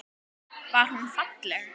Var hún falleg?